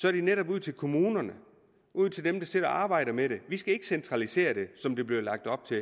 er det netop ud til kommunerne ud til dem der sidder og arbejder med det vi skal ikke centralisere det som der bliver lagt op til